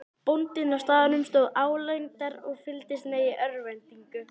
Bóndinn á staðnum stóð álengdar og fylgdist með í örvæntingu.